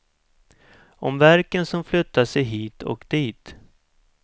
Om värken som flyttat sig hit och dit.